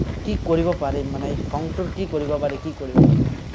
কি কৰিব পাৰিম, মানে এই খংটোৰ কি কৰিব পাৰি, কি কৰিব পাৰি।